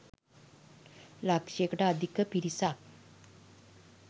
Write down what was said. ලක්ෂයකට අධික පිරිසක්